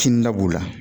Kini da b'u la